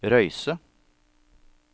Røyse